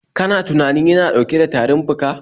Kana tunanin yana dauke da tarin fika?